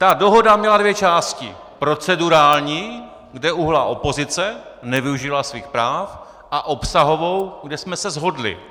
Ta dohoda měla dvě části - procedurální, kde uhnula opozice, nevyužila svých práv, a obsahovou, kde jsme se shodli.